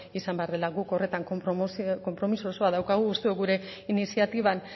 izan behar dela guk horretan konpromiso osoa daukagu uste dugu gure iniziatiban